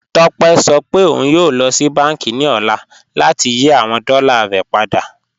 Tópẹ̀ sọ pé ọ̀un yóò lọ sí bánkì ni ọ̀lá láti yí awọn dọ́là rẹ̀ padà